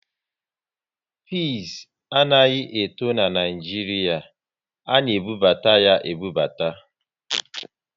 Pịs anaghị eto n'Naijiria, a na ebubata ya ebubata